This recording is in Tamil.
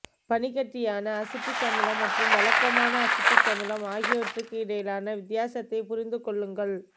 பனிக்கட்டியான அசிட்டிக் அமிலம் மற்றும் வழக்கமான அசிட்டிக் அமிலம் ஆகியவற்றிற்கு இடையிலான வித்தியாசத்தை புரிந்து கொள்ளுங்கள்